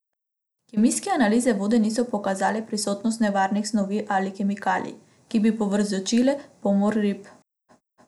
Kemijske analize vode niso pokazale prisotnosti nevarnih snovi ali kemikalij, ki bi povzročile pomor rib.